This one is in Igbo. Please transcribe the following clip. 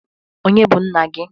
Ọnye bụ nna gi?